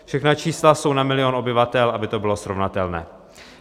Všechna čísla jsou na milion obyvatel, aby to bylo srovnatelné.